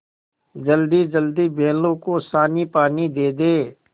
जल्दीजल्दी बैलों को सानीपानी दे दें